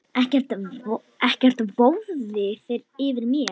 Ekkert vofði yfir mér.